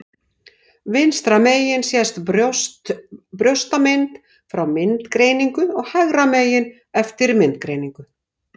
Vinstra megin sést brjóstamynd fyrir myndgreiningu og hægra megin eftir myndgreiningu.